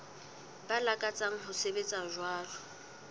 ba lakatsang ho sebetsa jwalo